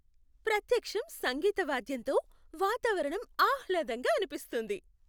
ప్రత్యక్షం సంగీత వాద్యంతో వాతావరణం ఆహ్లాదంగా అనిపిస్తుంది.